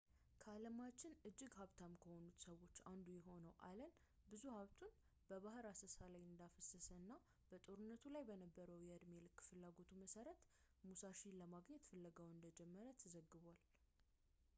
ከዓለማችን እጅግ ሀብታም ከሆኑት ሰዎች አንዱ የሆነው አለን ብዙ ሀብቱን በባህር አሰሳ ላይ እንዳፈሰሰ እና በጦርነቱ ላይ በነበረው የዕድሜ ልክ ፍላጎቱ መሰረት ሙሳሺን ለማግኘት ፍለጋውን እንደጀመረ ተዘግቧል